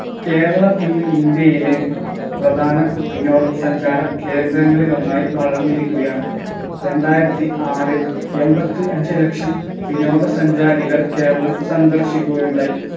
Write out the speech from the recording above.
കേരളം ഇന്ന് ഇന്ത്യയിലെ പ്രധാന വിനോദ സഞ്ചാര കേന്ദ്രങ്ങളിൽ ഒന്നായി വളർന്നിരിക്കുകയാണ് രണ്ടായിരത്തി ആറിൽ എമ്പത്തി അഞ്ച് ലക്ഷം വിനോദ സഞ്ചാരികൾ കേരളം സന്ദർശിക്കുകയുണ്ടായി